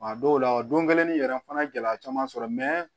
A dɔw la o don kelen ni yɛrɛ n fana ye gɛlɛya caman sɔrɔ